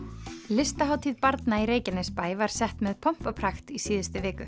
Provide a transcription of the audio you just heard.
listahátíð barna í Reykjanesbæ var sett með pomp og prakt í síðustu viku